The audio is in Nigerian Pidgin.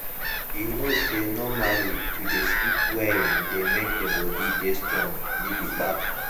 you know say normally to dey sleep well dey make the body dey strong gidigba.